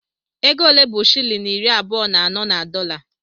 Ego ole bụ shịlịn iri abụọ na anọ na dọla?